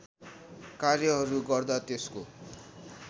कार्यहरू गर्दा त्यसको